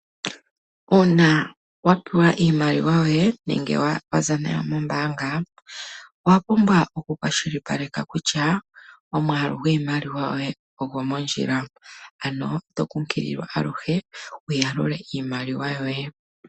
Uuna wa pewa iimaliwa yoye nenge waza nayo nombaanga owa pumbwa oku kwashilipaleka kutya omwaalu gwiimaliwa yoye ogo mondjila, ano oto kunkililwa aluhe wuya lule iimaliwa yoye.